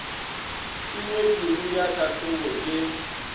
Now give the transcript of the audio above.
e ngwetšwego ya tlhahlobo ke